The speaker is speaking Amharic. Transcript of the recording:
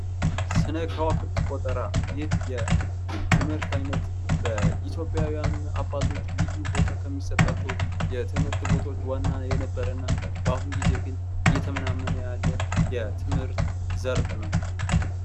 ስነ ከዋክብት ቆጠራ ይህ የትምህርት ዓይነት ኢትዮጵያዊያን አባቶች ልዩ ቦታ የሚሰጣቸው የትምህርት ቦታዎች ዋና የነበረ እና በአሁኑ ጊዜ ግን እየተመናመነ ያለ የትምህርት ዘርፍ ነው።